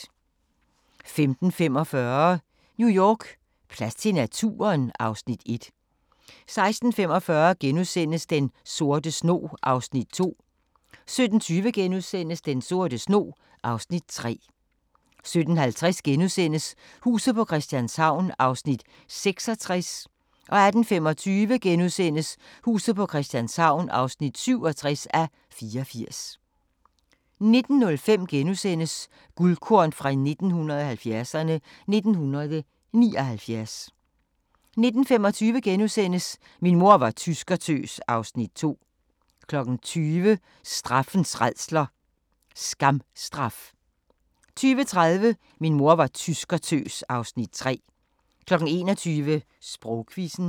15:45: New York: Plads til naturen? (Afs. 1) 16:45: Den sorte snog (Afs. 2)* 17:20: Den sorte snog (Afs. 3)* 17:50: Huset på Christianshavn (66:84)* 18:25: Huset på Christianshavn (67:84)* 19:05: Guldkorn 1970'erne: 1979 * 19:25: Min mor var tyskertøs (Afs. 2)* 20:00: Straffens rædsler: Skamstraf 20:30: Min mor var tyskertøs (Afs. 3) 21:00: Sprogquizzen